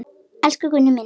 Elsku Gunni minn.